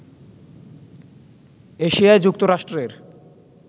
এশিয়ায় যুক্তরাষ্ট্রের